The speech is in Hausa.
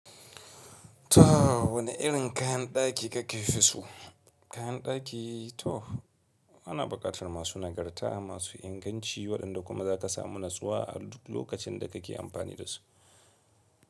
To wane irin kayan daki kake fi so? Kayan daki to ana bukatar masu nagarta, masu inganci waɗanda kuma za ka samu natsuwa a duk lokacin da kake amfani dasu.